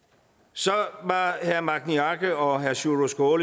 så var herre magni arge og herre sjúrður